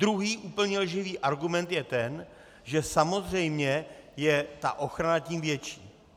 Druhý úplně lživý argument je ten, že samozřejmě je ta ochrana tím větší.